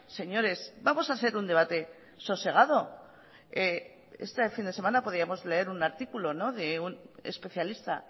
señores vamos a hacer un debate sosegado este fin de semana podíamos leer un artículo de un especialista